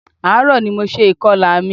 Ààrò ní mo ṣe ìkọlà mi.